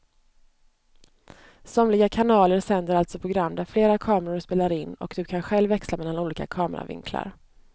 Somliga kanaler sänder alltså program där flera kameror spelar in och du kan själv växla mellan olika kameravinklar.